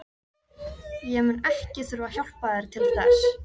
Ég mun ekki þurfa að hjálpa þér til þess.